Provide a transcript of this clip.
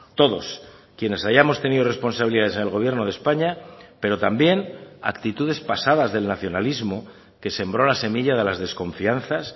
todos quienes hayamos tenido responsabilidades en el gobierno de españa pero también actitudes pasadas del nacionalismo que sembró la semilla de las desconfianzas